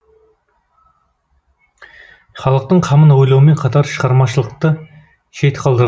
халықтың қамын ойлаумен қатар шығармашылықты шет қалдырған жоқ